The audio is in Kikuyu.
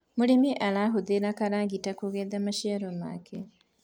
mũrĩmi arahuthira kĩragita kugetha maciaro make